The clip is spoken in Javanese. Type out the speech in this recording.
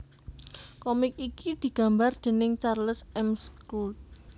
Komik iki digambar déning Charles M Schulz